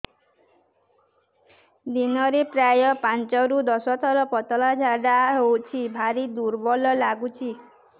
ଦିନରେ ପ୍ରାୟ ପାଞ୍ଚରୁ ଦଶ ଥର ପତଳା ଝାଡା ହଉଚି ଭାରି ଦୁର୍ବଳ ଲାଗୁଚି